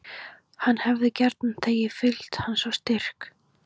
Hann hefði gjarnan þegið fylgd hans og styrk.